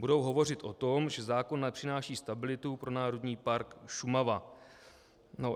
Budou hovořit o tom, že zákon nepřináší stabilitu pro Národní park Šumava.